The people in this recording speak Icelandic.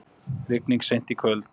Rigning seint í kvöld